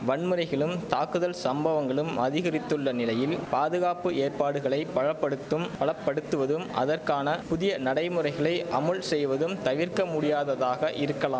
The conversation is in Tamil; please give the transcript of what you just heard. வன்முறைகளும் தாக்குதல் சம்பவங்களும் அதிகரித்துள்ள நிலையில் பாதுகாப்பு ஏற்பாடுகளை பல படுத்தும் பலப்படுத்துவதும் அதற்கான புதிய நடைமுறைகளை அமுல் செய்வதும் தவிர்க்க முடியாததாக இருக்கலா